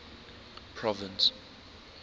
province